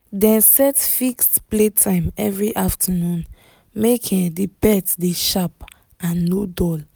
dem set fixed playtime every afternoon make um the pet dey sharp and no dull